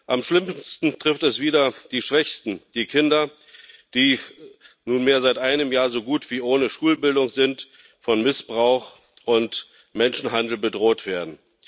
Am schlimmsten trifft es wieder die Schwächsten die Kinder, die nunmehr seit einem Jahr so gut wie ohne Schulbildung sind und von Missbrauch und Menschenhandel bedroht werden.